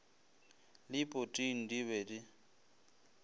le poting di be di